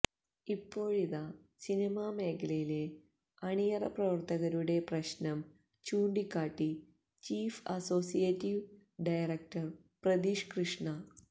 ഇപ്പോഴിത സിനിമ മേഖലയിലെ അണിയറ പ്രവർത്തകരുടെ പ്രശ്നം ചൂണ്ടിക്കാട്ടി chief associate director Pratheesh Krishna